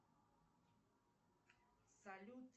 салют